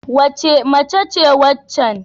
Wace mace ce waccan?